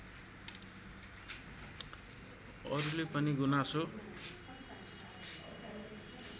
अरूले पनि गुनासो